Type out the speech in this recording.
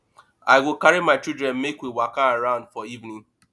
i go carry my children make we waka around for evening